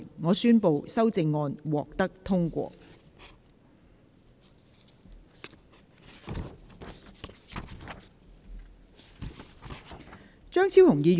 我宣布修正案獲得通過。